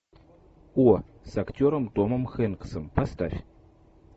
о с актером томом хэнксом поставь